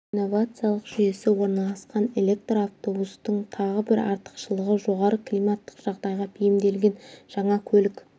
тежеу инновациялық жүйесі орналасқан электр автобустың тағы бір артықшылығы жоғары климаттық жағдайға бейімделген жаңа көлік